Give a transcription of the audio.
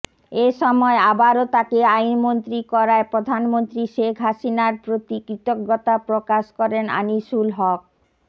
এসময় আবারও তাকে আইনমন্ত্রী করায় প্রধানমন্ত্রী শেখ হাসিনার প্রতি কৃতজ্ঞতা প্রকাশ করেন আনিসুল হক